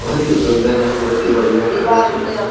सुंदर है बहुत ही बढ़िया है --